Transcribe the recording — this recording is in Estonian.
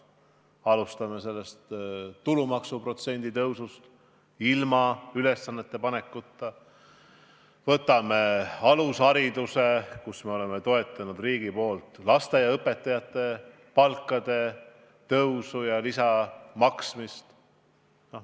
Alustame tulumaksuprotsendi suurendamisest ilma ülesannete panekuta, võtame alushariduse, kus riik on toetanud lasteaiaõpetajate palkade suurendamist ja lisaraha maksmist.